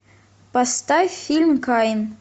поставь фильм каин